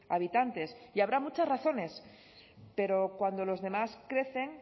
habitantes y habrá muchas razones pero cuando los demás crecen